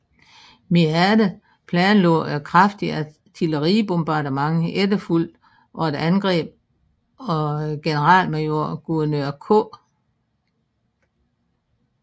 Meade planlagde et kraftigt artilleribombardement efterfulgt af et angreb af generalmajor Gouverneur K